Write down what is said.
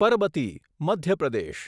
Parbati Madhya Pradesh